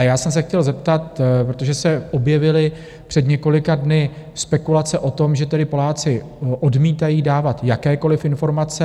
A já jsem se chtěl zeptat, protože se objevily před několika dny spekulace o tom, že tedy Poláci odmítají dávat jakékoliv informace.